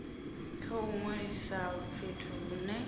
kha u ṅwalisa fhethu hune